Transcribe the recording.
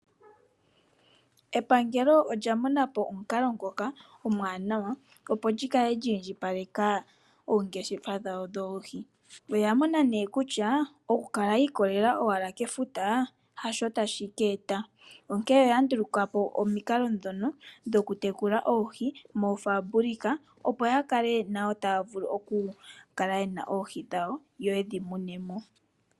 Epangelo olya mona po omukalo ngono omwaanawa opo lyi kala lyiindji paleka oongeshefa dhowo dhoohi. Oya mona nee kutya oku kala owala yiikolele owala kefuta hasho tashi keeta, onkee oya ndulukapo omikalo dhono dhokutekula moofaambulika opo ya kale nawo taya vulu oku kala yena oohi dhawo yo yedhi mune mo.